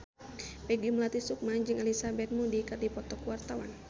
Peggy Melati Sukma jeung Elizabeth Moody keur dipoto ku wartawan